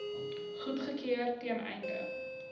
goedgekeur ten einde